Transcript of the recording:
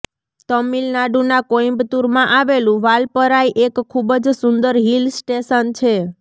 તમિલનાડુના કોઇમ્બતુરમાં આવેલું વાલપરાઇ એક ખૂબ જ સુંદર હિલ સ્ટેશન છે